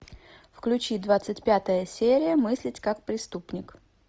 включи двадцать пятая серия мыслить как преступник